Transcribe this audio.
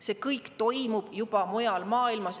See kõik mujal maailmas juba toimub.